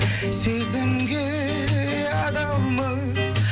сезімге адалмыз